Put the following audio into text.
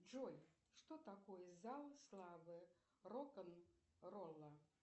джой что такое зал славы рок н ролла